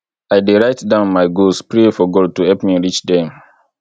i dey write down my goals pray for god to help me reach dem